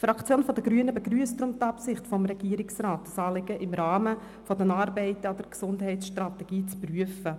Die Fraktion der Grünen begrüsst deshalb die Absicht des Regierungsrats, dieses Anliegen im Rahmen der Arbeiten an der Gesundheitsstrategie zu prüfen.